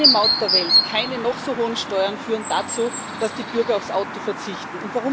Keine Maut der Welt, keine noch so hohen Steuern führen dazu, dass die Bürger aufs Auto verzichten.